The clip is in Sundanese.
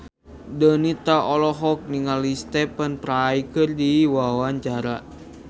Donita olohok ningali Stephen Fry keur diwawancara